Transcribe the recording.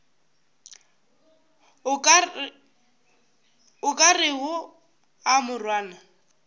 o ka rego a morwana